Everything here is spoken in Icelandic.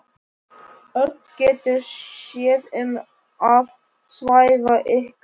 Örn getur séð um að svæfa ykkur.